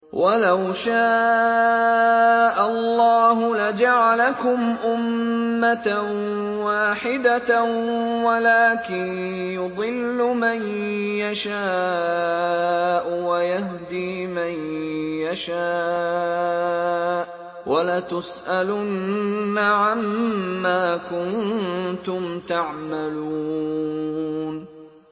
وَلَوْ شَاءَ اللَّهُ لَجَعَلَكُمْ أُمَّةً وَاحِدَةً وَلَٰكِن يُضِلُّ مَن يَشَاءُ وَيَهْدِي مَن يَشَاءُ ۚ وَلَتُسْأَلُنَّ عَمَّا كُنتُمْ تَعْمَلُونَ